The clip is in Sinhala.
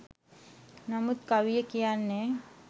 නමුත් කවිය කියන්නේ